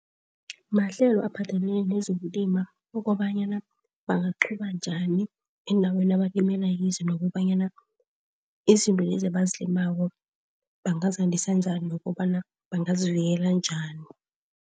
Mahlelo aphathelene nezokulima ukobanyana bangaqhuba njani endaweni abalimele kizo, nokobanyana izinto lezi abazilimako bangazandisa njani nokobana bangazivikela njani.